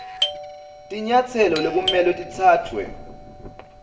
tinyatselo lekumele titsatfwe